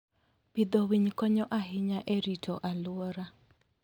Pidho winy konyo ahinya e rito alwora.